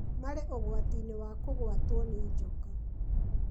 marĩ ũgwati-inĩ wa kũgwatwo nĩ njoka,